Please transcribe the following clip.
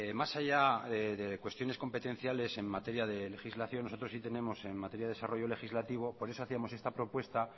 más allá de cuestiones competenciales en materia de legislación nosotros sí tenemos en materia de desarrollo legislativo por eso hacíamos esta propuesta